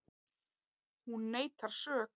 Hún neitar sök